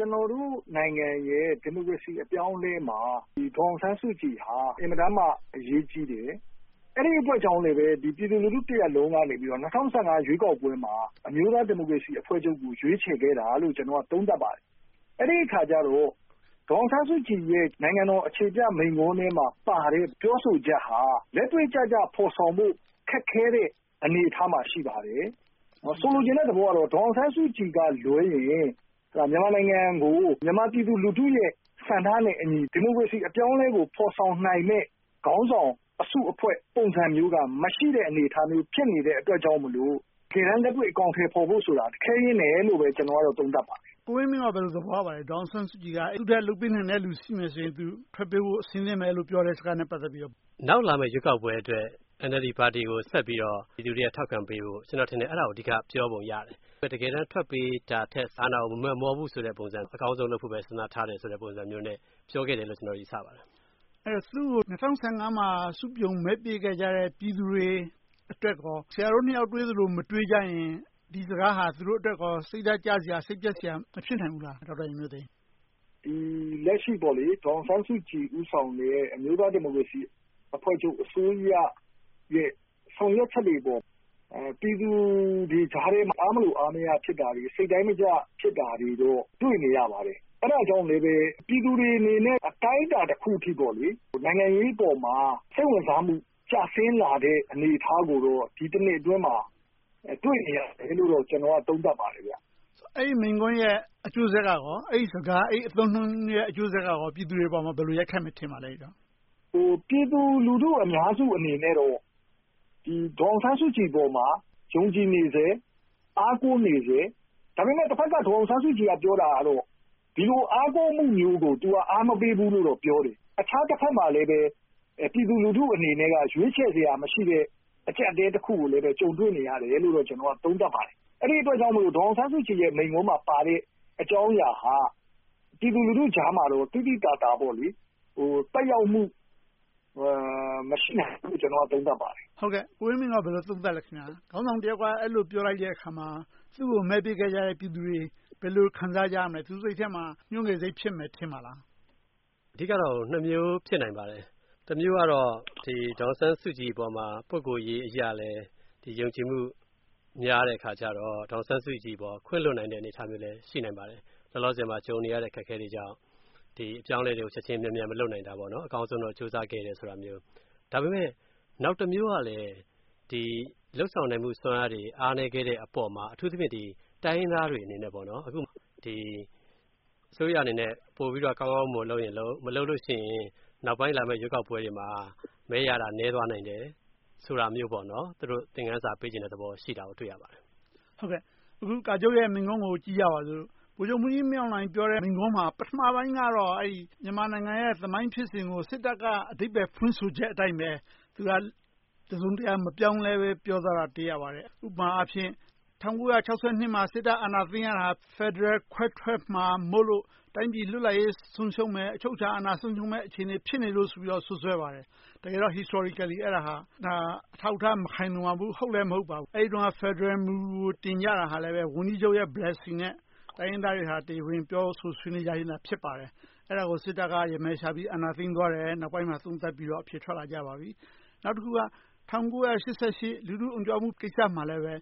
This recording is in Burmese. ကျနော်တို့နိုင်ငံရဲ့ ဒီမိုကရေစီ အပြောင်းအလဲမှာ ဒေါ်အောင်ဆန်းစုကြည်ဟာ အင်မတန်မှ အရေးကြီးတယ်။ အဲဒီအတွက်ကြောင့်လို့ပဲ ပြည်သူလူထုတရပ်လုံးက ၂၀၁၅ ရွေးကောက်ပွဲမှာ အမျိုးသားဒီမိုကရေစီအဖွဲ့ချုပ်ကို ရွေးချယ်ခဲ့တာလို့ ကျနော်က သုံးသပ်ပါတယ်။ အဲဒီအခါကြတော့ ဒေါ်အောင်ဆန်းစုကြည်ရဲ့ နိုင်ငံတော်အခြေပြမိန့်ခွန်းထဲမှာပါတဲ့ ပြောဆိုချက်ဟာ လက်တွေ့ကျကျ ဖော်ဆောင်ဖို့ ခက်ခဲတဲ့ အနေအထားမှာ ရှိပါတယ်။ ကျနော်ဆိုလိုချင်တဲ့သဘောက ဒေါ်အောင်ဆန်းစုကြည်ကလွှဲရင် မြန်မာနိုင်ငံကို မြန်မာပြည်သူလူထုရဲ့ ဆန္ဒနဲ့အညီ ဒီမိုကရေစီ အပြောင်းအလဲကို ဖော်ဆောင်နိုင်တဲ့ ခေါင်းဆောင်၊ အစုအဖွဲ့ ပုံစံမျိုးက မရှိတဲ့အနေအထားမျိုး ဖြစ်နေတဲ့အတွက်ကြောင့်လို့မို့ တကယ်တမ်း လက်တွေ့အကောင်အထည်ဖော်ဖို့ဆိုတာ ခဲယဉ်းတယ်လို့ပဲ ကျနော်က သုံးသပ်ပါတယ်။ ကိုဝင်းမင်း က ဘယ်လို သဘောရပါလဲ။ ဒေါ်အောင်ဆန်းစုကြည်က လုပ်ပေးနိုင်တဲ့လူရှိရင် သူထွက်ပေးဖို့ အဆင်သင့်ပဲလို့ ပြောတာနဲ့ ပတ်သက်ပြီး… နောက်လာမယ့် ရွေးကောက်ပွဲအတွက် NLD ပါတီကို ဆက်ပြီးတော့ လူတွေကို ထောက်ခံပေးဖို့၊ ကျနော်ထင်တယ် အဲဒါကို အဓိကပြောပုံရတယ်။ တကယ်တမ်း ထွက်ပေးတာထက် ဒါကို မမက်မောဘူးဆိုတဲ့ပုံစံ၊ အကောင်းဆုံးလုပ်ဖို့ပဲ စဉ်းစားထားတယ်ဆိုတဲ့ ပုံစံမျိုးနဲ့ ပြောခဲ့တယ်လို့ ကျနော် ယူဆပါတယ်။ အဲဒီတော့ သူကို ၂၀၁၅ မှာ စုပြုံမဲပေးခဲ့ကြတဲ့ ပြည်သူတွေအတွက်ကော ဆရာတို့နှစ်ယောက် တွေးသလို မတွေးကြရင် ဒီစကားဟာ သူတို့အတွက်ကော စိတ်ဓါတ်ကျစရာ၊ စိတ်ပျက်စရာ မဖြစ်နိုင်ဘူးလား။ လက်ရှိ ဒေါ်အောင်ဆန်းစုကြည် ဦးဆောင်နေတဲ့ အမျိုးသားဒီမိုကရေစီအဖွဲ့ချုပ် အစိုးရရဲ့ ဆောင်ရွက်ချက်တွေအပေါ် ပြည်သူတွေကြားထဲ အားမလိုအားမရ ဖြစ်တာတွေ၊ စိတ်တိုင်းမကျ ဖြစ်တာတွေကို တွေ့နေရပါတယ်။ အဲဒါကြောင့်မို့လဲ ပြည်သူတွေအနေနဲ့ အတိုင်းအတာတခုအထိ နိုင်ငံရေးအပေါ်မှာ စိတ်ဝင်စားမှု ကျဆင်းလာခဲ့တဲ့ အနေအထားကို ဒီတနှစ်အတွင်းမှာ တွေ့နေရတယ်လို့တော့ ကျနော်က သုံးသပ်ပါတယ်။ အဲဒီမိန့်ခွန်းရဲ့ အကျိုးဆက်က - အဲဒီစကား၊ အသုံးအနှုန်း အကျိုးဆက်က ပြည်သူတွေအပေါ် ဘယ်လိုရိုက်ခတ်မယ် ထင်ပါလဲ။ ပြည်သူလူထုအများစုအနေနဲ့ ဒေါ်အောင်ဆန်းစုကြည်အပေါ်မှာ ယုံကြည်နေဆဲ၊ အားကိုးနေဆဲ။ ဒါပေမဲ့ တဘက်က ဒေါ်အောင်ဆန်းစုကြည်က ပြောတာကတော့ ဒီလို အားစိုက်မှုမျိုးကို သူက အားမပေးဘူးလို့ ပြောတယ်။ တခြားတဘက်မှာလဲ ပြည်သူလူထုအနေနဲ့ ရွေးချယ်စရာမရှိတဲ့ အကျပ်အတည်းတခုကိုလဲ ကြုံတွေ့နေရတယ်လို့ သုံးသပ်ပါတယ်။ အဲဒီအတွက်ကြောင့်မို့ ဒေါ်အောင်ဆန်းစုကြည် မိန့်ခွန်းမှာပါတဲ့ အကြောင်းအရာဟာ ပြည်သူလူထုကြားမှာတော့ သိသိသာသာ သက်ရောက်မှု မရှိနိုင်ဘူးလို့ သုံးသပ်ပါတယ်။ ကိုဝင်းမင်းက ဘယ်လို သုံးသပ်ပါလဲ။ ခေါင်းဆောင်တယောက်က အဲဒီလို ပြောလိုက်တဲ့အခါမှာ သူကို မဲပေးခဲ့ကြတဲ့ ပြည်သူတွေ ဘယ်လို ခံစားကြရမလဲ။ သူတို့စိတ်ထဲမှာ ညှိုငယ်စိတ် ဖြစ်မယ်ထင်ပါလား။ အဓိကတော့ နှစ်မျိုးဖြစ်နိုင်ပါတယ်။ တမျိုးကတော့ ဒေါ်အောင်ဆန်းစုကြည်အပေါ် ပုဂ္ဂိုလ်ရေးအရလဲ ယုံကြည်မှု များတဲ့အခါကြတော့ ဒေါ်အောင်ဆန်းစုကြည်အပေါ် ခွင့်လွှတ်နိုင်တဲ့ အနေအထားမျိုးလဲ ရှိနိုင်ပါတယ်။ လောလောဆယ်မှာ ကြုံနေရတဲ့ အခက်အခဲတွေကြောင့် ဒီအပြောင်းအလဲတွေကို ချက်ချင်းမြန်မြန် မလုပ်နိုင်တာမျိုး။ အကောင်းဆုံးတော့ ကြိုးစားခဲ့တယ် ဆိုတာမျိုး။ ဒါပေမဲ့ နောက်တမျိုးကလဲ လုပ်ဆောင်နိုင်မှု စွမ်းအားတွေ အားနည်းခဲ့တဲ့အပေါ်မှာ။ အထူးသဖြင့် တိုင်းရင်းသားတွေအနေနဲ့ အစိုးရအနေနဲ့ ပိုပြီးတော့ ကောင်းကောင်းမွန်မွန် လုပ်ရင်လုပ်၊ မလုပ်လို့ရှိရင် နောက်ပိုင်း ရွေးကောက်ပွဲတွေမှာ မဲရတာ နည်းသွားနည်းသွားတယ် ဆိုတဲ့သဘောပါ။ သူတို့ သင်ခန်းစာ ပေးချင်တဲ့သဘောရှိတာကို တွေ့ရပါတယ်။ အခု ကာချုပ်ရဲ့ မိန့်ခွန်းကို ကြည့်ကြပါစို့။ ဗိုလ်ချုပ်မှူးကြီးမင်းအောင်လှိုင် ပြောတဲ့မိန့်ခွန်းမှာ ပထမပိုင်းကတော့ မြန်မာနိုင်ငံရဲ့ သမိုင်းဖြစ်စဉ်ကို စစ်တပ်က အဓိပ္ပါယ်ဖွင့်ဆိုချက်အတိုင်းပဲ တစုံတရာမပြောင်းလဲဘဲ ပြောသွားတာကို တွေ့ရပါတယ်။ ဥပမာအားဖြင့် ၁၉၆၂ မှာ စစ်တပ်အာဏာသိမ်းရတာ ဖယ်ဒရယ် ခွဲထွက်မှာမို့လို့ တိုင်းပြည်လွတ်လပ်ရေး ဆုံးရှုံးမယ်။ အချုပ်အခြာအာဏာ ဆုံးရှုံးမယ့် အခြေအနေ ဖြစ်နေလို့ဆိုပြီးတော့ စွပ်စွဲပါတယ်။ တကယ်တော့ Historically အထောက်အထား မခိုင်လုံပါဘူး။ ဟုတ်လဲမဟုတ်ပါဘူး။ အဲဒီတုန်းက ဖယ်ဒရယ်မူကို တင်ကြတာလည်း ဝန်ကြီးချုပ်ရဲ့ Blessing နဲ့ တိုင်းရင်းသားတွေ တရားဝင်ပြောဆို ဆွေးနွေးကြပြီးမှ ဖြစ်ပါတယ်။ အဲဒါကို စစ်တပ်က ရမယ်ရှာပြီးတော့ အာဏာသိမ်းသွားတယ်လို့ နောက်ပိုင်းမှာ သုံးသပ်ပြီးတော့ အဖြေထွက်လာကြပါပြီ။ နောက်တခုက ၁၉၈၈ လူထုအုံကြွမှုကိစ္စမှာလဲ